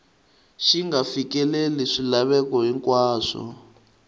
xi nga fikeleli swilaveko hinkwaswo